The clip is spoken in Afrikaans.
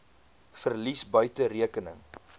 verlies buite rekening